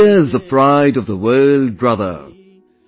India is the pride of the world brother,